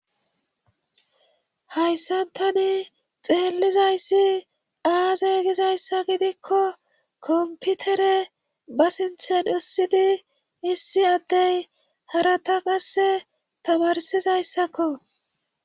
Hayssatani xeellizayssi aaze gizayssa gidikko komputere ba sinthen ussidi issi addey harata qasse tabarsizayssakko.